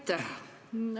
Aitäh!